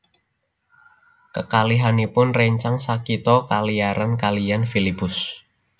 Kekalihipun rèncang sakitha kalairan kaliyan Filipus